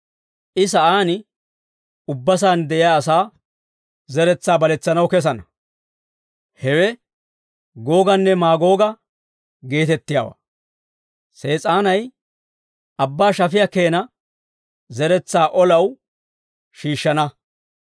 I Sa'aan ubba saan de'iyaa asaa zeretsaa baletsanaw kessana; hewe Googanne Maagooga geetettiyaawaa. Sees'aanay abbaa shafiyaa keena zeretsaa olaw shiishshana.